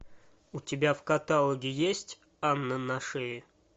у тебя в каталоге есть анна на шее